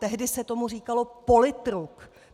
Tehdy se tomu říkalo politruk.